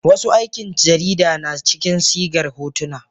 wasu aikin jarida na cikin sigar hotuna